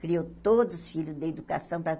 Criou todos os filhos deu educação para.